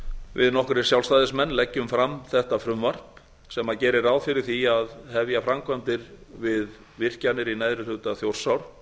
við nokkrir sjálfstæðismenn leggjum fram þetta frumvarp sem gerir ráð fyrir því að hefja framkvæmdir við virkjanir í neðri hluta þjórsár